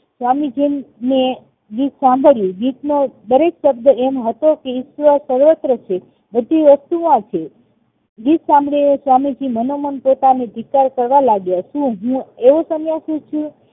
સ્વામીજી ને ગીત સાંભળ્યું ગીત નો દરેક શબ્દ એમ હતો કે ઈશ્વર સર્વત્ર છે બધી વસ્તુમાં છે ગીત સાંભળીને સ્વામીજી મનોમન પોતાનો ધિકાર કરવા લાગ્યા છે શું હું એવો સન્યાસી છું